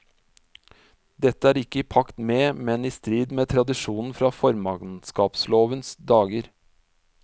Dette er ikke i pakt med, men i strid med tradisjonen fra formannskapslovens dager.